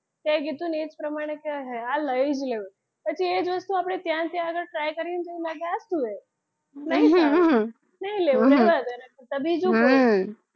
તે કીધું એ જ પ્રમાણે આ લઈ જ લેવું પછી એ જ વસ્તુ આપડે ત્યાં જ્યાં આગળ try કરીએ તો એવું લાગે આ શું છે નહિ લેવું બસ એને તો બીજું કોઈ હમ